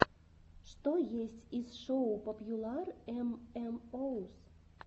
что есть из шоу попьюлар эм эм оус